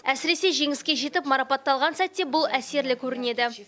әсіресе жеңіске жетіп марапатталған сәтте бұл әсерлі көрінеді